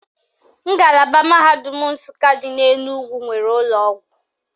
Ngalaba mahadum Nsụka dị n'Enugwu nwere ụlọọgwụ